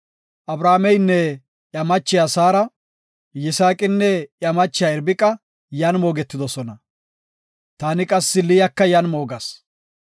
Abrahaameynne iya machiya Saara, Yisaaqinne iya machiya Irbiqa yan moogetidosona. Taani qassi Liyaka yan moogas.